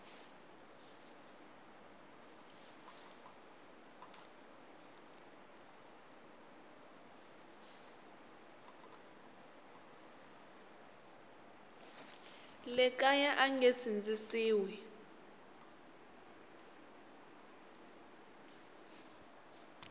le kaya a nge sindzisiwi